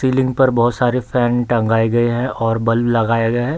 Ceiling पर बहुत सारे फैन टंगाए है और बल्ब लगाया गया है।